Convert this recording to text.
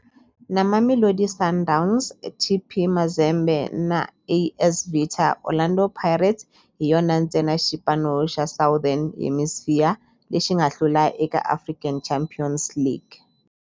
Na Mamelodi Sundowns, TP Mazembe na AS Vita, Orlando Pirates hi yona ntsena xipano xa Southern Hemisphere lexi nga hlula eka African Champions League.